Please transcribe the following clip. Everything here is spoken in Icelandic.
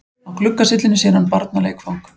Á gluggasyllunni sér hann barnaleikfang.